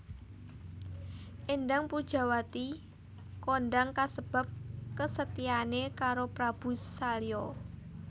Éndang Pujawati kondang kasebab kesetiaane karo Prabu Salya